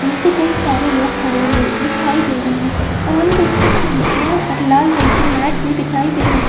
नीचे कई सारे लोग खड़े हुए दिखाई दे रहे है और हम देख सकते है यहाँ पर लाल रंग की मैट भी दिखाई दे रही --